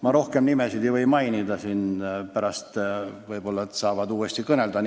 Ma rohkem nimesid ei või mainida, pärast inimesed saavad siin sõna.